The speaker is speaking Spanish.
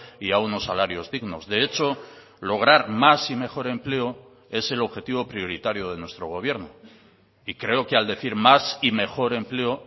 y a unos salarios dignos de hecho lograr más y mejor empleo es el objetivo prioritario de nuestro gobierno y creo que al decir más y mejor empleo